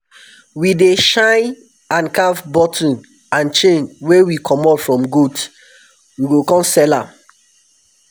we dey shine and carv button and chain wey we comot from goat. we go come sell am